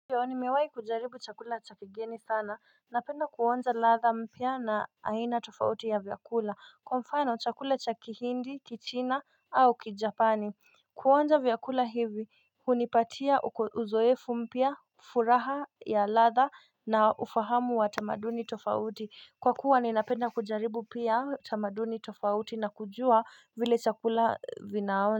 Nimewahi kujaribu chakula cha kigeni sana. Napenda kuonja ladha mpya na aina tofauti ya vyakula. Kwa mfano chakula cha kihindi, kichina au kijapani. Kuonja vyakula hivi hunipatia uzoefu mpya, furaha ya ladha na ufahamu wa tamaduni tofauti. Kwa kuwa ninapenda kujaribu pia tamaduni tofauti na kujua vile chakula vinaonja.